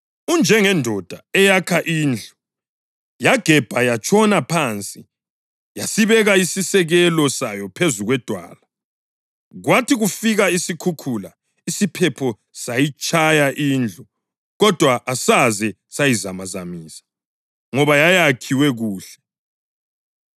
Unjengendoda eyakha indlu, yagebha yatshona phansi, yasibeka isisekelo sayo phezu kwedwala. Kwathi kufika isikhukhula, isiphepho sayitshaya indlu, kodwa asaze sayizamazamisa, ngoba yayakhiwe kuhle.